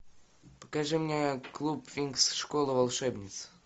покажи мне клуб винкс школа волшебниц